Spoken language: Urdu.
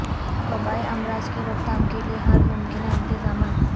وبائی امراض کی روک تھام کیلئے ہر ممکنہ انتظامات